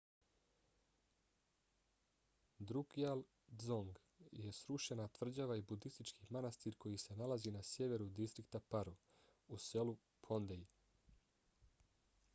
drukgyal dzong je srušena tvrđava i budistički manastir koji se nalazi na sjeveru distrikta paro u selu phondey